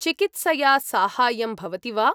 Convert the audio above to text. चिकित्सया साहाय्यं भवति वा?